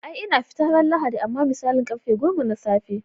Ai ina fita ran lahadi amma misalin karfe goma na tsafe.